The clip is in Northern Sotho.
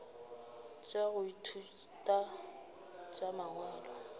tša go ithuta tša mangwalo